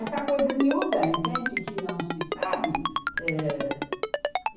Essa coisa é miúda, entende que não se sabe? Eh